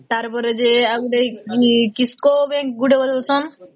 ତାର ପରେ ଯେ ଆଉ ଗୋଟେ ଯେ କିସ୍କା kisco bank ଗୋଟେ ଉଠେଇଶନ